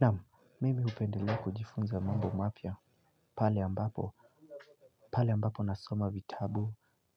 Naam, mimi hupendelea kujifunza mambo mapya pale ambapo, pale ambapo nasoma vitabu